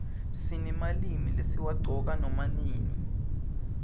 sinemalimi lesiwaqcoka nama nini